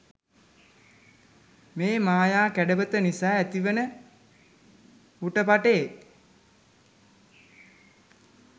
මේ මායා කැඩපත නිසා ඇතිවෙන හුටපටේ